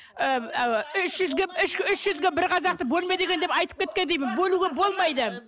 ы үш жүзге үш жүзге бір қазақты бөлме деген деп айтып кеткен деймін бөлуге болмайды